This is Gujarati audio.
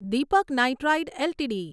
Deepak nitrite LTD